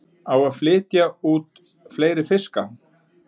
Á að flytja út fleiri fiska